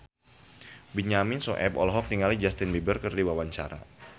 Benyamin Sueb olohok ningali Justin Beiber keur diwawancara